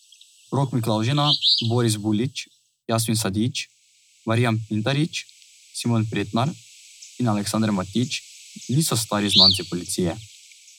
Rok Miklavžina, Boris Bulić, Jasmin Sadić, Marijan Pintarič, Simon Pretnar in Aleksander Matić niso stari znanci policije.